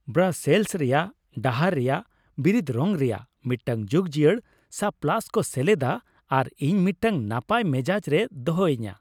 Brussels ᱨᱮᱭᱟᱜ ᱰᱟᱦᱟᱨ ᱨᱮᱭᱟᱜ ᱵᱤᱨᱤᱫ ᱨᱚᱝ ᱨᱮᱭᱟᱜ ᱢᱤᱫᱴᱟᱝ ᱡᱩᱜᱽᱡᱤᱭᱟᱹᱲ ᱥᱯᱞᱮᱹᱥ ᱠᱚ ᱥᱮᱞᱮᱫᱟ ᱟᱨ ᱤᱧ ᱢᱤᱫᱴᱟᱝ ᱱᱟᱯᱟᱭ ᱢᱮᱡᱟᱡᱽ ᱨᱮᱭ ᱫᱚᱦᱚᱧᱟ ᱾